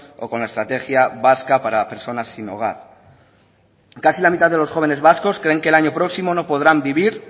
o con la estrategia vasca para personas sin hogar casi la mitad de los jóvenes vascos creen que el año próximo no podrán vivir